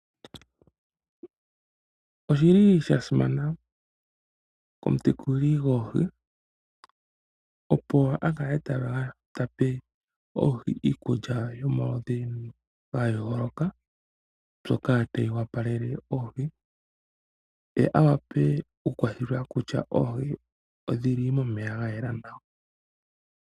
Oshili shasimana komutekuli gwoohi opo aka le ta pe oohi iikulya yomaludhi gayooloka, mbyoka tayi opalele oohi, ye awape oku thela kutya oohi odhili momeya ga yela nawa.